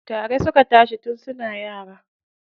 Tare suka tashi tun suna yara.